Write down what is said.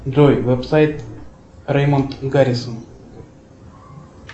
джой веб сайт реймонд гаррисон